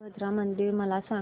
वीरभद्रा मंदिर मला सांग